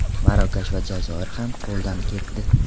Marokash va Jazoir ham qo‘ldan ketdi.